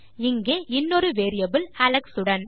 இங்கு இன்னொரு variable Alex உடன்